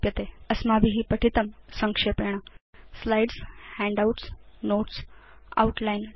अस्माभि पठितं संक्षेपेण स्लाइड्स् हैण्डआउट्स् नोट्स् आउटलाइन् च